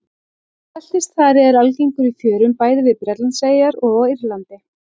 Beltisþari er algengur í fjörum bæði við Bretlandseyjar og á Írlandi.